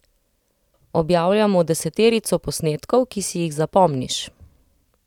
Objavljamo deseterico posnetkov, ki si jih zapomniš.